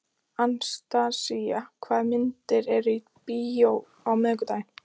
Anastasía, hvaða myndir eru í bíó á miðvikudaginn?